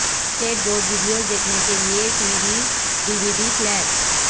skate board videos دیکھنے کے لئے T V D V D player